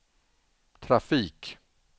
trafik